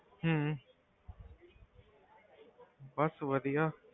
ਹਮ ਬਸ ਵਧੀਆ।